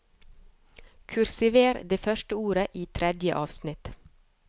Kursiver det første ordet i tredje avsnitt